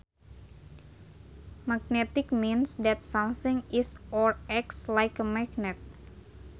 Magnetic means that something is or acts like a magnet